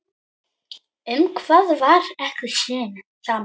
Um hvað var ekki samið?